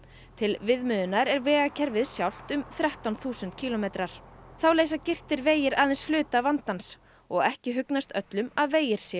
til viðmiðunar er vegakerfið sjálft um þrettán þúsund kílómetrar þá leysa girtir vegir aðeins hluta vandans og ekki hugnast öllum að vegir séu